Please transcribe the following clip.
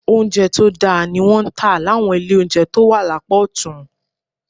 Oúnjẹ tó dáa ni wọ́n ń tà láwọn ilé oúnjẹ tó wà lápá ọ̀tún